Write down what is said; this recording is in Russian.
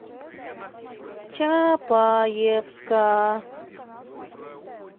чапаевска